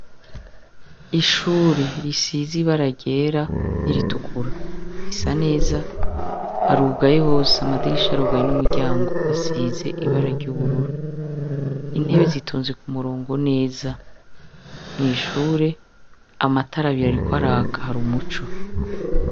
Ishure risiz' ibara ryera ni ritukura risa neza harugaye hose, amadirish' arugaye n' umuryang' asiz' ibara ry'ubururu, intebe zitonze k' umurongo neza, mw' ishur' amatar' abir' ariko har' umuco.